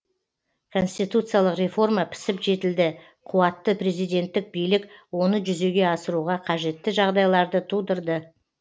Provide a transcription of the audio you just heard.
конституциялық реформа пісіп жетілді қуатты президентік билік оны жүзеге асыруға қажетті жағдайларды тудырды